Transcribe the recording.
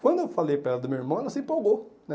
Quando eu falei para ela do meu irmão, ela se empolgou né.